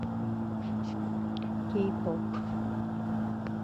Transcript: кей поп